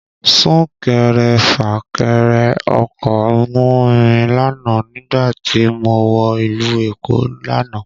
Sún kẹrẹ fà kẹrẹ ọkọ̀ mú mi lánàá nígbà tí mo wọ ìlú Èkó lánàá